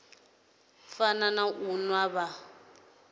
fana na u nwa vha